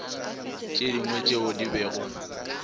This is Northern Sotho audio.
tše dingwe tšeo di bego